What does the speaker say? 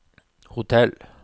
hotell